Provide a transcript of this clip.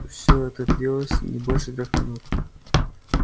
все это длилось не больше трёх минут